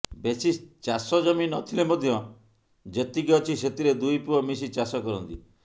ବେଶୀ ଚାଷ ଜମି ନଥିଲେ ମଧ୍ୟ ଯେତିକି ଅଛି ସେଥିରେ ଦୁଇ ପୁଅ ମିଶି ଚାଷ କରନ୍ତି